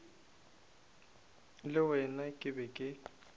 le wena ke be ke